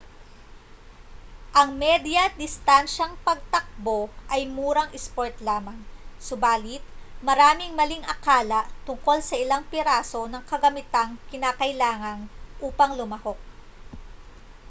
ang medya-distansyang pagtakbo ay murang isport lamang subalit maraming maling akala tungkol sa ilang piraso ng kagamitang kinakailangan upang lumahok